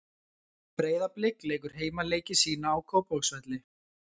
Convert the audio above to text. Breiðablik leikur heimaleiki sína á Kópavogsvelli.